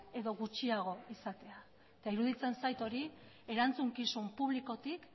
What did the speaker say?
edo gutxiago izatea eta iruditzen zait hori erantzukizun publikotik